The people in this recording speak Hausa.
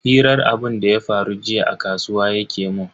Hirar abunda ya faru jiya a kasuwa yake mun.